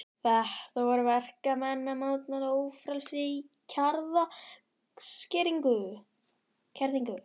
Þetta voru verkamenn að mótmæla ófrelsi og kjaraskerðingu.